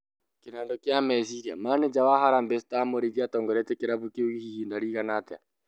Kĩnandũ kĩa meciria: Mananja wa Harambee star, Mũrĩithi atongoretie kĩrabũ kĩu ihĩnda rĩigana atĩa?